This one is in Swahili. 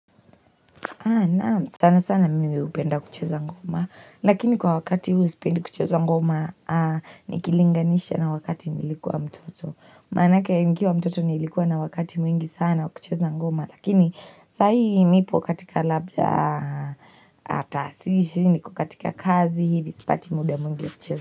Sana sana mimi hupenda kucheza ngoma lakini kwa wakati huu sipendi kucheza ngoma nikilinganisha na wakati nilikuwa mtoto manake nikiwa mtoto nilikuwa na wakati mwingi sana wa kucheza ngoma lakini sahii nipo katika labda atasishi niko katika kazi hivi sipati muda mwingi wa kucheza.